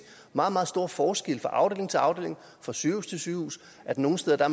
meget meget store forskelle fra afdeling til afdeling fra sygehus til sygehus nogle steder